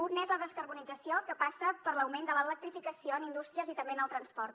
un és la descarbonització que passa per l’augment de l’electrificació en indústries i també en el transport